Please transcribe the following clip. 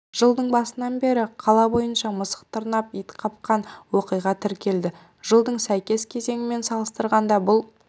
жылдың басынан бері қала бойынша мысық тырнап ит қапқан оқиға тіркелді жылдың сәйкес кезеңімен салыстырғанда бұл